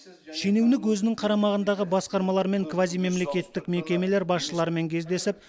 шенеунік өзінің қарамағындағы басқармалар мен квазимемлекеттік мекемелер басшыларымен кездесіп